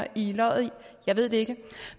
i løget jeg ved det ikke